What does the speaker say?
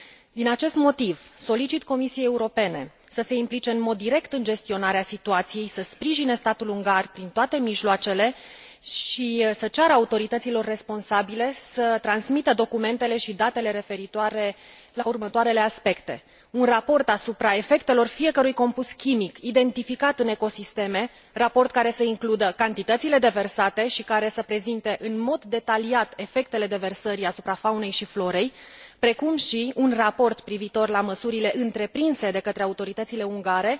Din acest motiv, solicit Comisiei Europene să se implice în mod direct în gestionarea situației, să sprijine statul ungar prin toate mijloacele și să ceară autorităților responsabile să transmită documentele și datele referitoare la următoarele aspecte un raport asupra efectelor fiecărui compus chimic identificat în ecosisteme, raport care să includă cantitățile deversate și care să prezinte în mod detaliat efectele deversării asupra faunei și florei, precum și un raport privitor la măsurile întreprinse de către autoritățile ungare,